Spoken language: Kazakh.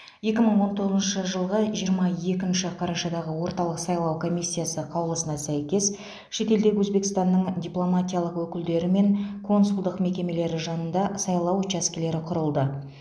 екі мың он тоғызыншы жылғы жиырма екінші қарашадағы орталық сайлау комиссиясы қаулысына сәйкес шетелдегі өзбекстанның дипломатиялық өкілдері мен консулдық мекемелері жанында сайлау учаскелері құрылды